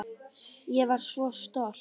Ég var svo stolt.